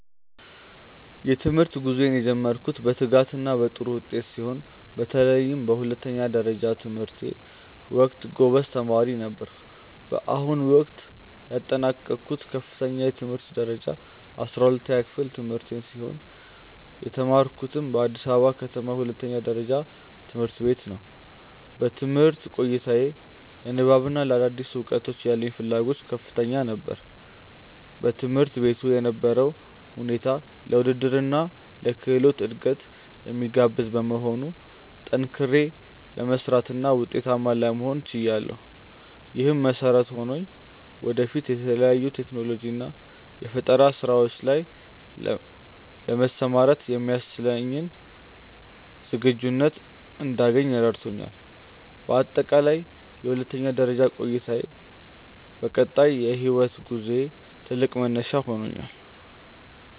የትምህርት ጉዞዬን የጀመርኩት በትጋትና በጥሩ ውጤት ሲሆን፣ በተለይም በሁለተኛ ደረጃ ትምህርቴ ወቅት ጎበዝ ተማሪ ነበርኩ። በአሁኑ ወቅት ያጠናቀቅኩት ከፍተኛ የትምህርት ደረጃ የ12ኛ ክፍል ትምህርቴን ሲሆን፣ የተማርኩትም በአዲስ ከተማ ሁለተኛ ደረጃ ትምህርት ቤት ነው። በትምህርት ቆይታዬ ለንባብና ለአዳዲስ እውቀቶች ያለኝ ፍላጎት ከፍተኛ ነበር። በትምህርት ቤቱ የነበረው ሁኔታ ለውድድርና ለክህሎት እድገት የሚጋብዝ በመሆኑ፣ ጠንክሬ ለመስራትና ውጤታማ ለመሆን ችያለሁ። ይህም መሰረት ሆኖኝ ወደፊት በተለያዩ የቴክኖሎጂና የፈጠራ ስራዎች ላይ ለመሰማራት የሚያስችለኝን ዝግጁነት እንዳገኝ ረድቶኛል። በአጠቃላይ የሁለተኛ ደረጃ ቆይታዬ ለቀጣይ የህይወት ጉዞዬ ትልቅ መነሻ ሆኖኛል።